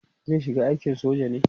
zai shiga aikin soja ne?